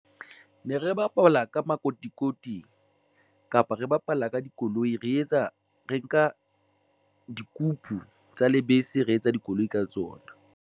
Ne re bapala ka makotikoti kapa re bapala ka dikoloi, re etsa re nka dikupu tsa lebese, re etsa dikoloi ka tsona.